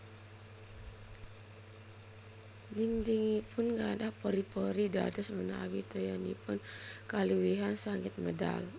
Dhindhingipun gadhah pori pori dados menawi toyanipun kaluwihan saged medal